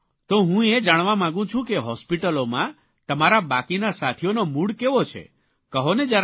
તો હું એ જાણવા માગું છું કે હોસ્પીટલોમાં તમારા બાકીના સાથીઓનો મૂડ કેવો છે કહોને જરા